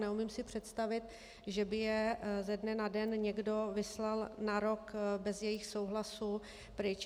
Neumím si představit, že by je ze dne na den někdo vyslal na rok bez jejich souhlasu pryč.